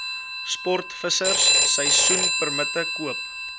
sportvissers seisoenpermitte koop